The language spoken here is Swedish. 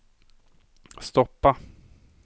stoppa